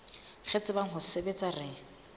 re tsebang ho sebetsa re